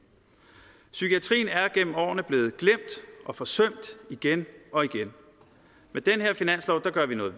psykiatrien er gennem årene blevet glemt og forsømt igen og igen med den her finanslov gør vi noget